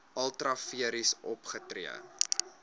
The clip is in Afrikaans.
ultra vires opgetree